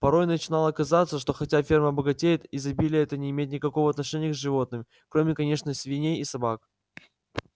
порой начинало казаться что хотя ферма богатеет изобилие это не имеет никакого отношения к животным кроме конечно свиней и собак